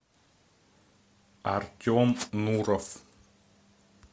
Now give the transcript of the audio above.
артем нуров